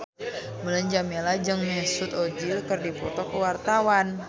Mulan Jameela jeung Mesut Ozil keur dipoto ku wartawan